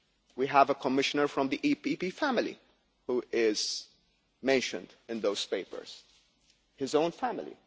We have a Commissioner from the EPP family who is mentioned in those papers his own family.